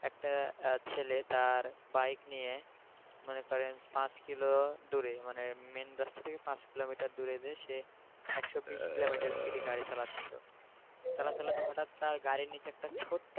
একটা ছেলে তার bike নিয়ে মনে করেন পাঁচকিলো দূরে মানে main রাস্তা থেকে পাঁচ কিলোমিটার দূরে যেয়ে সে একশো বিশ কিলোমিটার speed গাড়ি চালাচ্ছিল চালাতে চালাতে হঠাৎ তার গাড়ির নিচে একটা ছোট্ট